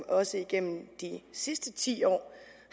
også igennem de sidste ti år